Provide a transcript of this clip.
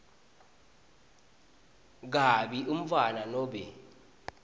kabi umntfwana nobe